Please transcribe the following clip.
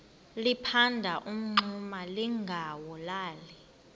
liphanda umngxuma lingawulali